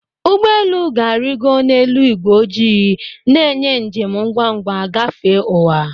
Ụgbọ elu ga-arịgo n'elu ígwé ojii, na-enye njem ngwa ngwa gafee ụwa.